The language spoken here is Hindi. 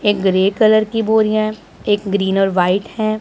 ये ग्रे कलर की बोरियां एक ग्रीन और वाइट है।